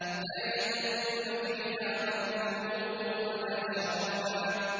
لَّا يَذُوقُونَ فِيهَا بَرْدًا وَلَا شَرَابًا